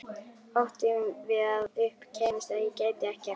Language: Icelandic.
Óttinn við að upp kæmist að ég gæti ekkert.